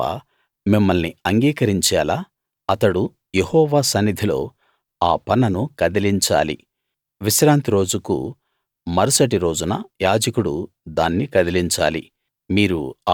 యెహోవా మిమ్మల్ని అంగీకరించేలా అతడు యెహోవా సన్నిధిలో ఆ పనను కదిలించాలి విశ్రాంతి రోజుకు మరుసటి రోజున యాజకుడు దాన్ని కదిలించాలి